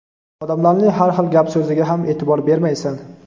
odamlarning har xil gap-so‘ziga ham e’tibor bermaysan.